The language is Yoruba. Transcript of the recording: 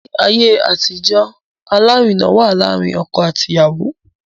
Ni aye atijo, alarina wa laarin ọkọ ati iyawo